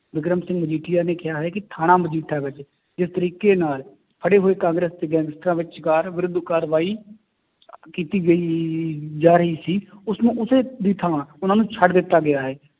ਵਿਕਰਮ ਸਿੰਘ ਮਜੀਠੀਆ ਨੇ ਕਿਹਾ ਹੈ ਕਿ ਥਾਣਾ ਮਜੀਠਾ ਵਿੱਚ ਜਿਸ ਤਰੀਕੇ ਨਾਲ ਫੜੇ ਹੋਏ ਕਾਂਗਰਸ ਵਿਰੁੱਧ ਕਾਰਵਾਈ ਕੀਤੀ ਗਈ ਜਾ ਰਹੀ ਸੀ ਉਸਨੂੰ ਉਸੇ ਦੀ ਥਾਂ ਉਹਨਾਂ ਨੂੰ ਛੱਡ ਦਿੱਤਾ ਗਿਆ ਹੈ,